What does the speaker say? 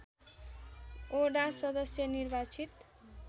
वडा सदश्य निर्वाचित